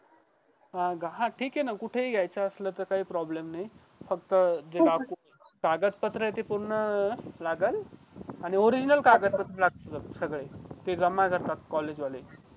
हां ठीके कुठे हि घेयचा असेल तर काही problem नाही फक्त ते document कागदपत्र आहे ते पूर्ण लागलं original कागद पत्र लागतील सगळे ते जमा करतात college वाले